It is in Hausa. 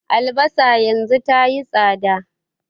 Albasa yanzu tayi tsada